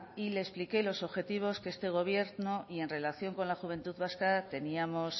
y le expliqué los objetivos que este gobierno y en relación con la juventud vasca teníamos